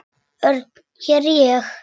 Örn, ég er hér